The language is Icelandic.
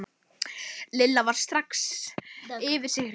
Lilla varð strax yfir sig hrifin.